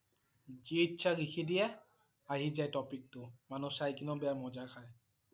যি ইচ্ছা লিখি দিয়ে, আহি জাই topic টো। মানুহ চাই কিনেও বেয়া মজা খাই